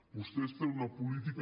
vostès tenen una política